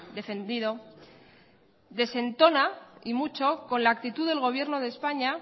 defendido desentona y mucho con la actitud del gobierno de españa